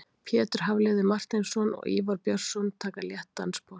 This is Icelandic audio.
Pétur Hafliði Marteinsson og Ívar Björnsson taka létt dansspor.